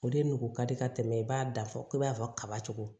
O de nugu ka di ka tɛmɛ i b'a dafa i b'a fɔ kaba cogo